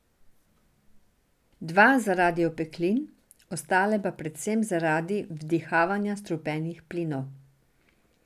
Dva zaradi opeklin, ostale pa predvsem zaradi vdihavanja strupenih plinov.